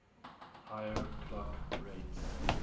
higher clock rates